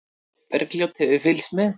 Bergljót hefur fylgst með.